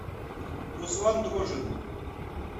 руслан дрожин